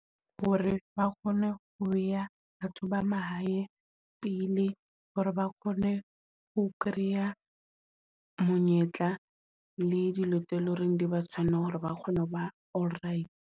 Hore ba kgone ho ya batho ba mahae pele hore ba kgone ho kreya monyetla le dilo tse loreng di ba tshwanela hore ba kgone ho ba all right.